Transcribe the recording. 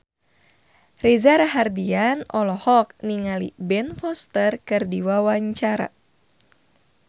Reza Rahardian olohok ningali Ben Foster keur diwawancara